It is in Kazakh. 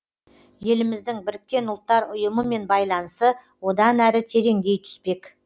еліміздің біріккен ұлттар ұйымымен байланысы одан әрі тереңдей түспек